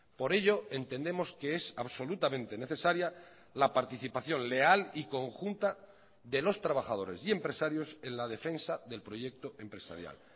por ello entendemos que es absolutamente necesaria la participación leal y conjunta de los trabajadores y empresarios en la defensa del proyecto empresarial